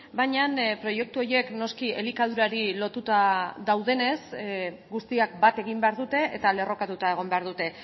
baina proiektu horiek noski elikadurari lotuta daudenez guztiak bat egin behar dute eta lerrokatuta egon behar dute